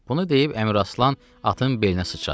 Bunu deyib Əmiraslan atın belinə sıçradı.